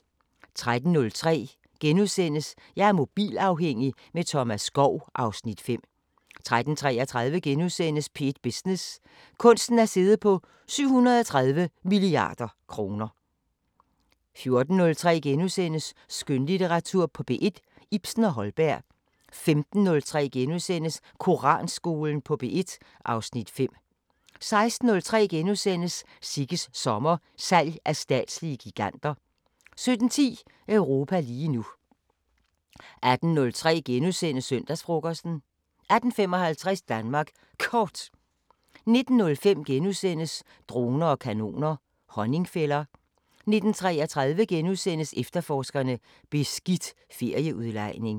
13:03: Jeg er mobilafhængig – med Thomas Skov (Afs. 5)* 13:33: P1 Business: Kunsten at sidde på 730 mia. kr. * 14:03: Skønlitteratur på P1: Ibsen og Holberg * 15:03: Koranskolen på P1 (Afs. 5)* 16:03: Sigges sommer: Salg af statslige giganter * 17:10: Europa lige nu 18:03: Søndagsfrokosten * 18:55: Danmark Kort 19:03: Droner og kanoner: Honningfælder * 19:33: Efterforskerne: Beskidt ferieudlejning *